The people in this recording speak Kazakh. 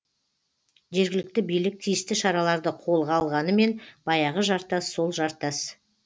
жергілікті билік тиісті шараларды қолға алғанымен баяғы жартас сол жартас